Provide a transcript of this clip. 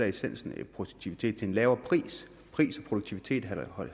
essensen i produktivitet til en lavere pris pris og produktivitet